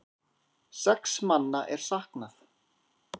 Sex manna er saknað.